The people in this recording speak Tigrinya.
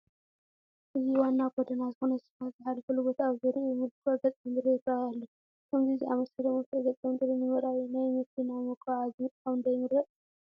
እዚ ዋና ጐደና ዝኾነ ስፋልት ዝሓለፈሉ ቦታ ኣብ ዙርይኡ ምልኩዕ ገፀ ምድሪ ይርአ ኣሎ፡፡ ከምዚ ዝኣምሰለ ምልኩዕ ገፀ ምድሪ ንምርኣይ ናይ መኪና መጓዓዓዚ ምጥቃም ዶ ይምረፅ?